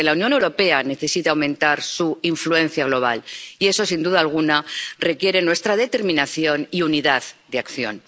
Porque la Unión Europea necesita aumentar su influencia global y eso, sin duda alguna, requiere nuestra determinación y unidad de acción.